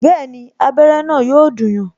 Bẹẹni, abere na yo dùn yan